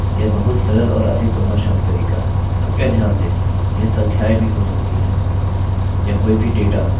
कृपया ध्यान दें यह संख्याएँ भी हो सकती हैं या कोई भी डेटा जिसे आपने उनके अंदर रखना आवश्यक समझा